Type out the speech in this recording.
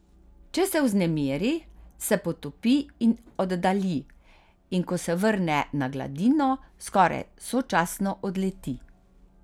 Če se vznemiri, se potopi in oddalji, in ko se vrne na gladino, skoraj sočasno odleti.